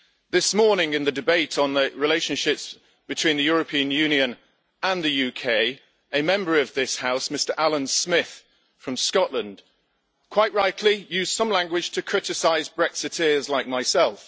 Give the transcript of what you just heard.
This morning, in the debate on the relationship between the European Union and the UK, a Member of this House, Mr Alyn Smith from Scotland, quite rightly used some language to criticise Brexiteers like myself.